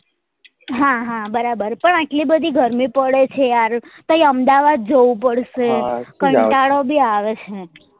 હા હા બરાબર બરાબર પણ આટલી બધી ગરમી પડે છે યાર પહી અમદાવાદ જવું પડશે કંટાળો બી આવે છે